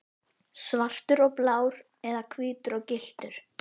Svartur og blár eða hvítur og gylltur?